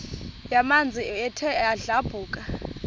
yamanzi ethe yadlabhuka